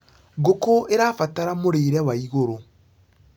ngũkũ irabatara mũrĩre wa igũrũ